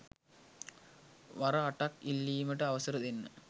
වර අටක් ඉල්ලීමට අවසර දෙන්න.